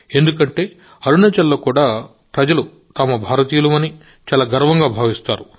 ఎందుకంటే అరుణాచల్లో కూడా ప్రజలు తాము భారతీయులమని చాలా గర్వంగా భావిస్తారు